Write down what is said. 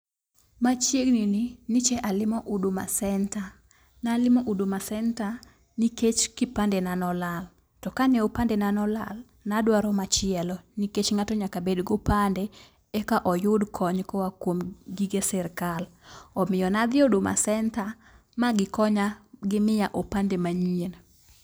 Machiegni ni nyiche alimo huduma center. Nalimo huduma center nikech ne kipande na nolal to kane opande na nolal ne adwaro machielo , nikech ng'ato nyaka bed gopande eka oyud kony koa kuom gige sirkal. Omiyo nadhi huduma center ma gikonya gimiya opande manyien.